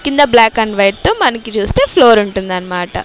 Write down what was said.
కింద black and white మనకి చూస్తే ఫ్లోర్ ఉంటుందన్మాట.